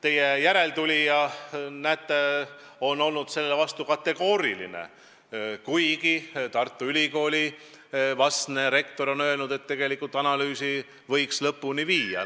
Teie järeltulija, näete, on aga olnud sellele plaanile kategooriliselt vastu, kuigi Tartu Ülikooli vastne rektor on öelnud, et tegelikult analüüsi võiks lõpuni viia.